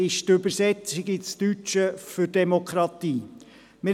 Die Übersetzung ins Deutsche von Demokratie lautet Volksherrschaft.